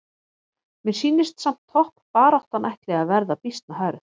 Mér sýnist samt toppbaráttan ætli að vera býsna hörð!